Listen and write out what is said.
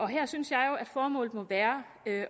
her synes jeg jo at formålet må være